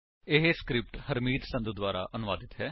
ਇਹ ਸਕਰਿਪਟ ਹਰਮੀਤ ਸੰਧੂ ਦੁਆਰਾ ਅਨੁਵਾਦਿਤ ਹੈ